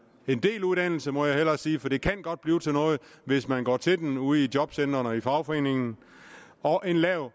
en del uddannelse må jeg hellere sige for det kan godt blive til noget hvis man går til den ude i jobcentrene og i fagforeningen og en lav